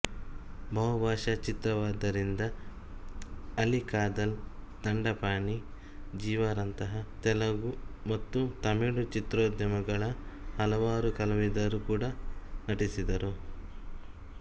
ಬಹುಭಾಷಾ ಚಿತ್ರವಾದ್ದರಿಂದ ಅಲಿ ಕಾದಲ್ ದಂಡಪಾಣಿ ಜೀವಾರಂತಹ ತೆಲುಗು ಮತ್ತು ತಮಿಳು ಚಿತ್ರೋದ್ಯಮಗಳ ಹಲವಾರು ಕಲಾವಿದರು ಕೂಡ ನಟಿಸಿದರು